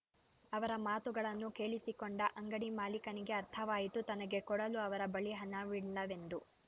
ಅವರ ಮಾತುಗಳನ್ನು ಕೇಳಿಸಿಕೊಂಡ ಅಂಗಡಿ ಮಾಲೀಕನಿಗೆ ಅರ್ಥವಾಯಿತು ತನಗೆ ಕೊಡಲು ಅವರ ಬಳಿ ಹಣವಿಲ್ಲವೆಂದು